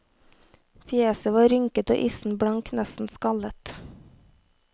Fjeset var rynket og issen blank, nesten skallet.